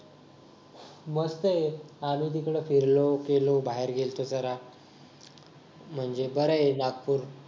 मग काय आम्ही तिकडे फिरलो बाहेर गेलो होतो जरा म्हणजे बर आहे नागपूर